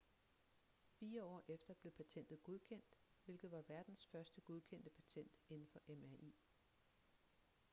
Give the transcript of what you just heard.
fire år efter blev patentet godkendt hvilket var verdens første godkendte patent inden for mri